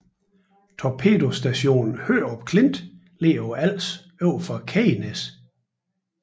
Torpedostation Hørup Klint ligger på Als overfor Kegnæs